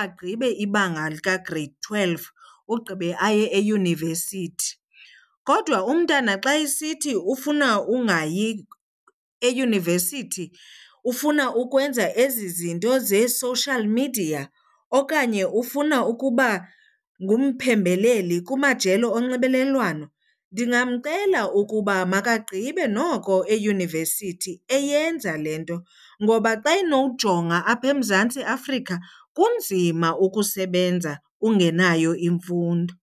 agqibe ibanga lika-grade twelve ogqibe aye eyunivesithi. Kodwa umntana xa esithi ufuna ungayi eyunivesithi ufuna ukwenza ezi zinto ze-social media okanye ufuna ukuba ngumphembeleli kumajelo onxibelelwano, ndingamcela ukuba makagqibe noko eyunivesithi eyenza le nto ngoba xa enowujonga apha eMzantsi Afrika kunzima ukusebenza ungenayo imfundo.